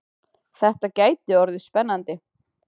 Þetta gæti orðið spennandi!